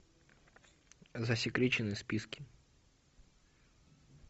засекреченные списки